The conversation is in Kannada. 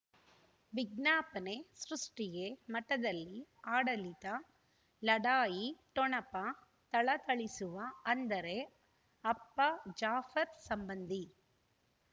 ವಿಜ್ಞಾಪನೆ ಸೃಷ್ಟಿಗೆ ಮಠದಲ್ಲಿ ಆಡಳಿತ ಲಢಾಯಿ ಠೊಣಪ ಥಳಥಳಿಸುವ ಅಂದರೆ ಅಪ್ಪ ಜಾಫರ್ ಸಂಬಂಧಿ